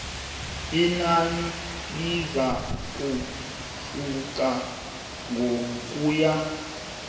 inani lizakuhluka ngokuya